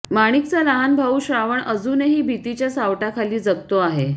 माणिकचा लहान भाऊ श्रावण अजूनही भीतीच्या सावटाखाली जगतो आहे